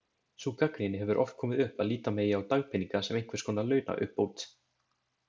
Sú gagnrýni hefur oft komið upp að líta megi á dagpeninga sem einhvers konar launauppbót.